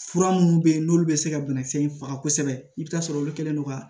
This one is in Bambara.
Fura minnu bɛ yen n'olu bɛ se ka banakisɛ in faga kosɛbɛ i bɛ taa sɔrɔ olu kɛlen don ka